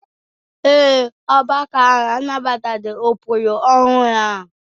Ee e, ọgbakọ ahụ anabataghị ụkpụrụ ọhụrụ ahụ